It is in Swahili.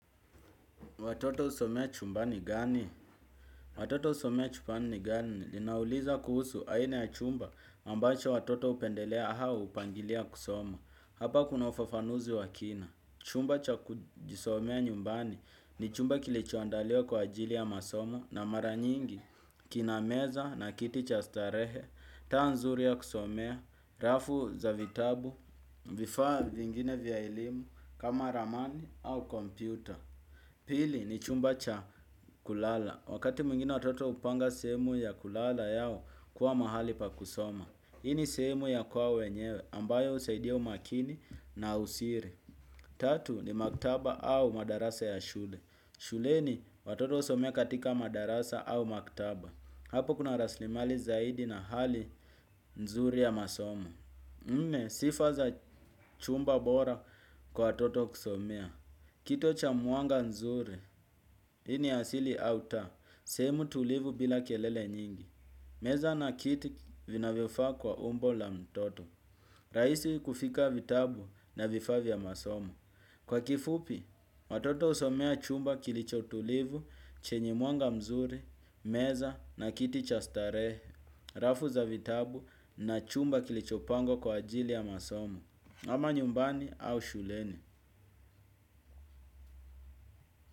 Watoto husomea chumbani gani? Watoto husomea chumbani gani? Ninauliza kuhusu aina ya chumba ambacho watoto hupendelea au hupangilia kusoma. Hapa kuna ufafanuzi wa kina. Chumba cha kujisomea nyumbani ni chumba kilichoandaliwa kwa ajili ya masoma na mara nyingi. Kina meza na kiti cha starehe. Taa nzuri ya kusomea. Rafu za vitabu. Vifaa vingine vya elimu kama ramani au kompyuta. Pili ni chumba cha kulala. Wakati mwingine watoto hupanga sehemu ya kulala yao kuwa mahali pa kusoma. Hii ni sehemu ya kwao wenyewe ambayo husaidia umakini na usiri. Tatu ni maktaba au madarasa ya shule. Shuleni watoto husomea katika madarasa au maktaba. Hapo kuna raslimali zaidi na hali nzuri ya masomo. Nne sifa za chumba bora kwa watoto kusomea. Kito cha mwanga nzuri, hii ni ya siri au taa, sehemu tulivu bila kelele nyingi. Meza na kiti vinavyofaa kwa umbo la mtoto. Rahisi kufika vitabu na vifaa vya masomo. Kwa kifupi, watoto husomea chumba kilicho tulivu, chenye mwanga mzuri, meza na kiti cha starehe. Rafu za vitabu na chumba kilichopangwa kwa ajili ya masomo. Ama nyumbani au shuleni.